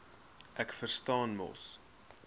ek verstaan mos